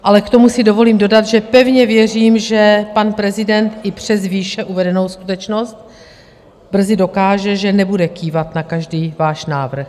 Ale k tomu si dovolím dodat, že pevně věřím, že pan prezident i přes výše uvedenou skutečnost brzy dokáže, že nebude kývat na každý váš návrh.